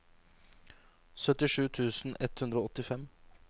syttisju tusen ett hundre og åttifem